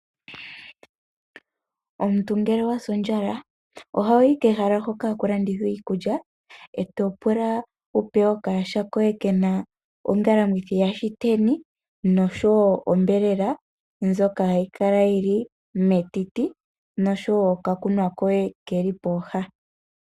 Omuntu ngele owa sa ondjala oho yi kehala hoka haku landithwa iikulya e to pula wu pewe okayaha koye ke na ongalamwithi yaShiteni noshowo onyama ndjoka hayi kala yi li metiti noshowo okakunwa koye ke li pooha.